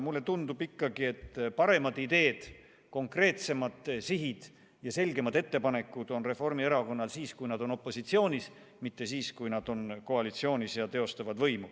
Mulle tundub ikkagi, et paremad ideed, konkreetsemad sihid ja selgemad ettepanekud on Reformierakonnal siis, kui nad on opositsioonis, mitte siis, kui nad on koalitsioonis ja teostavad võimu.